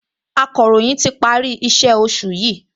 Akọ̀ròyìn ti parí iṣẹ́ ti oṣù yìí